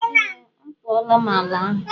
Ee m a tuola m ala ahụ.